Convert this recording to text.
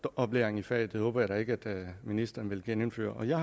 dåbsoplæring i faget og det håber jeg da ikke at ministeren vil genindføre jeg